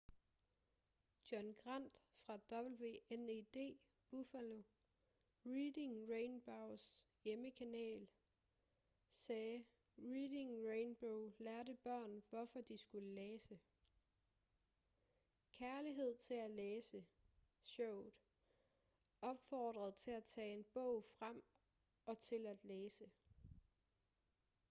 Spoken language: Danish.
john grant fra wned buffalo reading rainbows hjemmekanal sagde reading rainbow lærte børn hvorfor de skulle læse... kærligheden til at læse – [showet] opfordrede til at tage en bog frem og til at læse.